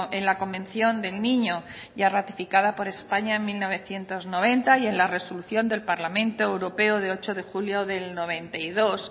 en la convención del niño ya ratificada por españa en mil novecientos noventa y en la resolución del parlamento europeo de ocho de julio del noventa y dos